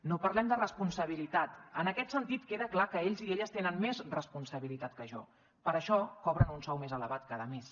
no parlem de responsabilitat en aquest sentit queda clar que ells i elles tenen més responsabilitat que jo per això cobren un sou més elevat cada mes